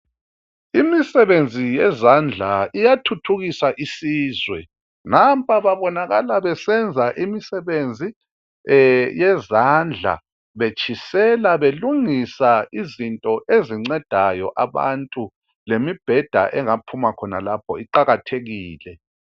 Imisebenzi yezandla iyathuthukisa isizwe, nampa babonakala besenza imisebenzi yezandla, betshisela belungisa izinto ezincedayo abantu, lemibheda engaphuma khonalapho iqakathekile